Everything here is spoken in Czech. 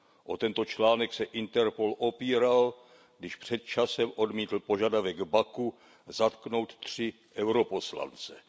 O tento článek se Interpol opíral, když před časem odmítl požadavek Baku zatknout tři poslance EP.